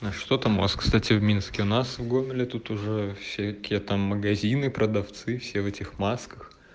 что там у вас кстати в минске у нас в гомеле тут уже всякие там магазины продавцы все в этих масках